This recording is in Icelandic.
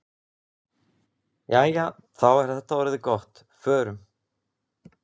Jæja, þá er þetta orðið gott. Förum.